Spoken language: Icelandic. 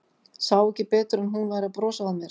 Sá ekki betur en að hún væri að brosa að mér.